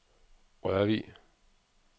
Rørvig